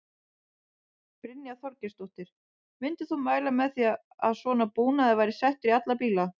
Brynja Þorgeirsdóttir: Myndir þú mæla með því að svona búnaður væri settur í alla bíla?